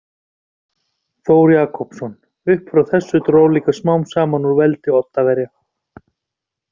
Þór Jakobsson Upp frá þessu dró líka smám saman úr veldi Oddaverja.